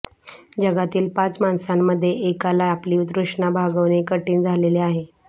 जगातील पाच माणसांमध्ये एकाला आपली तृष्णा भागवणे कठीण झालेले आहे